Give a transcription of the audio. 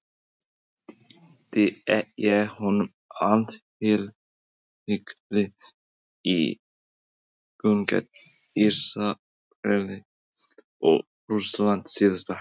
Veitti ég honum athygli í leikjunum gegn Ísrael og Rússlandi síðasta haust?